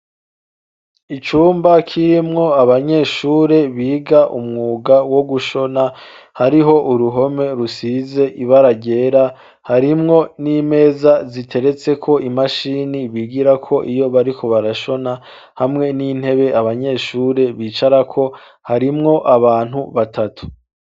Icumba kirimwo abanyeshure biga umwuga wo gushona hariho uruhome rusize ibara ryera harimwo n'imeza ziteretse ko imashini bigira ko iyo bariko barashona hamwe n'intebe abanyeshuri bicara ko harimwo abantu batatu.